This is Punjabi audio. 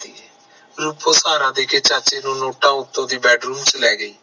ਰੂਪੋ ਸਹਾਰਾ ਦੇਕੇ ਚਾਚੇ ਨੂੰ ਨੋਟਾਂ ਉਤੋਂ ਦੀ bedroom ਚ ਲ ਆ ਗਈ